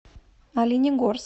оленегорск